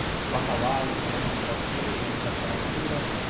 бакалавр магистратура және докторантура